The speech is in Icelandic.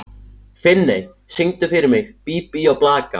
Finney, syngdu fyrir mig „Bí bí og blaka“.